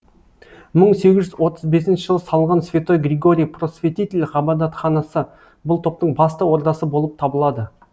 мың сегіз жүз отыз бесінші жылы салынған святой григорий просветитель ғабадатханасы бұл топтың басты ордасы болып табылады